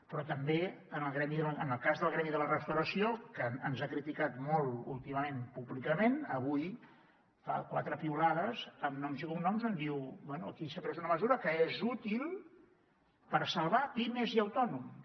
però també en el cas del gremi de restauració que ens ha criticat molt últimament públicament avui fa quatre piulades amb noms i cognoms on diu bé aquí s’ha pres una mesura que és útil per salvar pimes i autònoms